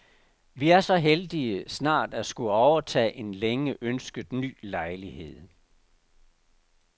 Vi er så heldige snart at skulle overtage en længe ønsket ny lejlighed.